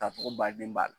K'a fɔ ko baden b'a la